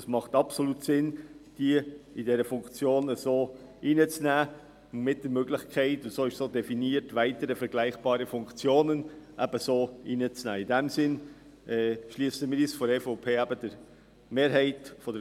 Es macht absolut Sinn, Personen in solchen Funktionen mit einzuschliessen, mit der Möglichkeit, «weitere vergleichbare Funktionen» ebenso einzuschliessen, wie das definiert wurde.